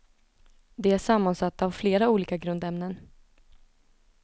De är sammansatta av flera olika grundämnen.